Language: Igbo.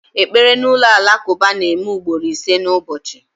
Ekpere n'ụlọ alakụba na-eme ugboro ise n'ụbọchị